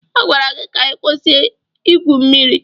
A gwara gị ka ị kwụsị Ị gwụ mmiri.